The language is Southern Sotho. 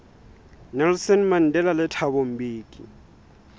nelson mandela le thabo mbeki